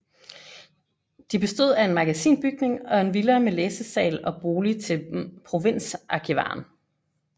De bestod af en magasinbygning og en villa med læsesal og bolig til provinsarkivaren